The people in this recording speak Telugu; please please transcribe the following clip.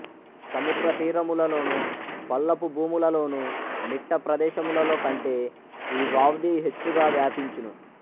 సముద్ర తీరములలోనూ పల్లపు భూములలోను మిట్ట ప్రదేశములలో కంటే ఈ వ్వాధి హెచ్చుగ వ్యాపించును